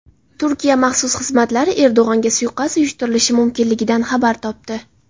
Turkiya maxsus xizmatlari Erdo‘g‘onga suiqasd uyushtirilishi mumkinligidan xabar topdi.